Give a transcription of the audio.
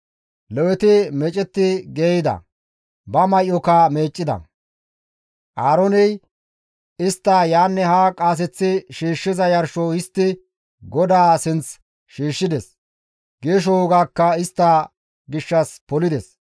Leweti meecetti geeyida; ba may7oka meeccida; Aarooney istta yaanne haa qaaseththi shiishshiza yarsho histti GODAA sinth shiishshides; geesho wogaakka istta gishshas polides.